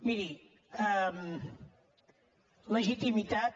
miri legitimitat